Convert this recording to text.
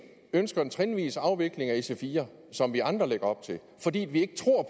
ønsker en trinvis afvikling af ic4 som vi andre lægger op til fordi vi ikke tror